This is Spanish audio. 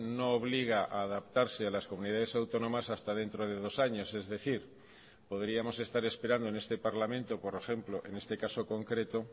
no obliga a adaptarse a las comunidades autónomas hasta dentro de dos años es decir podríamos estar esperando en este parlamento por ejemplo en este caso concreto